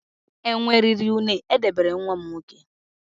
Enwe riri une dobere nwa m nwoke.